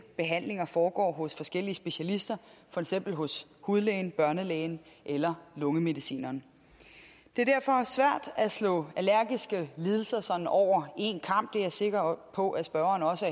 behandlinger foregår hos forskellige specialister for eksempel hos hudlægen børnelægen eller lungemedicineren det er derfor svært at slå allergiske lidelser sådan over en kam det er jeg sikker på at spørgeren også